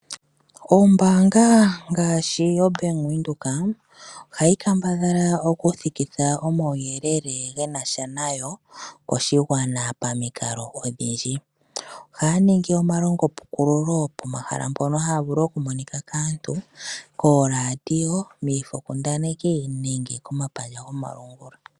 Ombaanga ngaashi yoBank Windhoek ohayi kambadhala okuthikitha omauyelele ge na sha nayo koshigwana pamikalo odhindji. Ohaya ningi omalongo pukululo pomahala mpono haya vulu okumonika kaantu, kooRadio, miifo kundaneki nenge komapandja gomalungula.